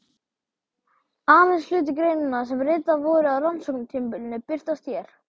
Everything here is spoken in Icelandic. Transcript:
Aðeins hluti greinanna sem ritaðar voru á rannsóknartímabilinu birtast hér.